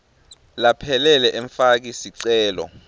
laphelele emfaki sicelo